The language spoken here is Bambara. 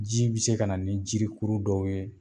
Ji bi se kana ni jirikuru dɔw ye